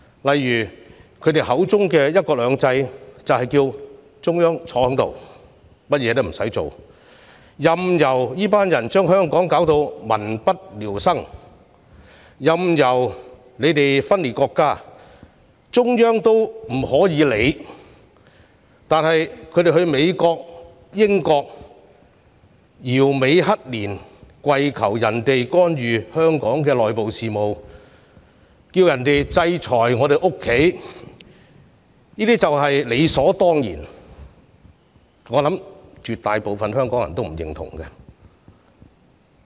例如他們口中的"一國兩制"就是中央不理會香港，任由他們將香港弄得民不聊生，任由他們分裂國家，中央也不作任何理會，而他們到英國、美國搖尾乞憐，跪求別國干預香港的內部事務、制裁香港，卻是理所當然，我相信絕大部分香港人也不會認同。